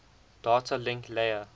data link layer